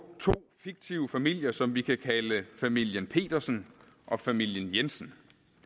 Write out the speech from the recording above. to fiktive familier som vi kan kalde familien petersen og familien jensen